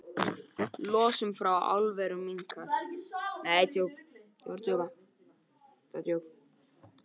Losun frá álverum minnkar